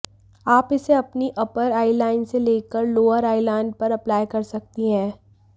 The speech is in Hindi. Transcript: आप इसे अपनी अपर आई लाइन से लेकर लोअर आईलाइन पर अप्लाई कर सकती हैं